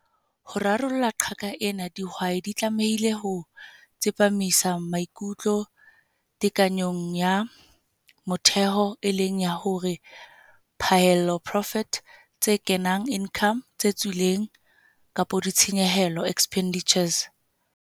Ho rarolla qaka ena, dihwai di tlamehile ho tsepamisa maikutlo tekanyong ya motheho, e leng ya hore phaello profit, tse kenang income tse tswileng ditshenyehelo expenditures.